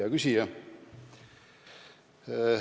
Hea küsija!